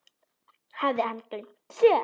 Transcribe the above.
Hafði hann gleymt sér?